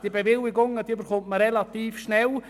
Die Bewilligungen erhält man relativ schnell.